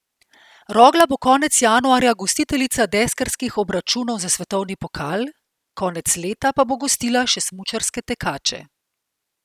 Rogla bo konec januarja gostiteljica deskarskih obračunov za svetovni pokal, konec leta pa bo gostila še smučarske tekače.